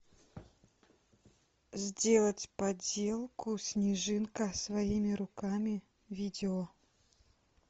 сделать поделку снежинка своими руками видео